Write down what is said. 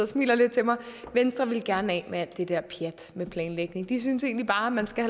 smiler lidt til mig venstre ville gerne af med al det der pjat med planlægning de synes egentlig bare at man skal